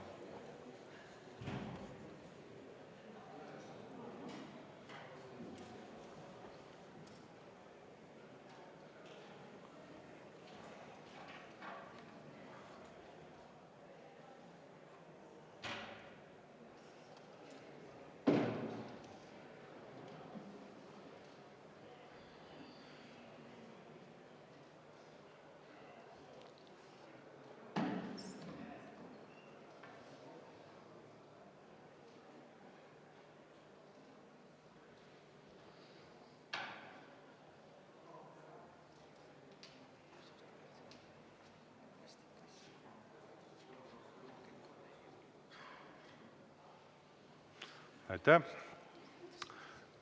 Aitäh!